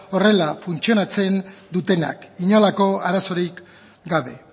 horrela funtzionatzen dutenak inolako arazorik gabe